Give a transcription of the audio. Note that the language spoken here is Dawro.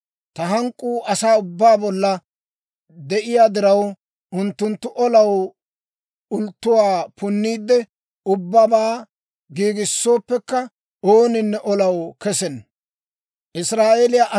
Ta hank'k'uu asaa ubbaa bolla de'iyaa diraw, unttunttu olaw ulttuwaa punniide, ubbabaa giigissooppekka, ooninne olaw kesenna.